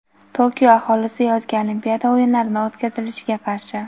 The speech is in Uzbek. Tokio aholisi yozgi olimpiada o‘yinlarini o‘tkazilishiga qarshi.